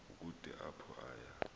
kukude apho aya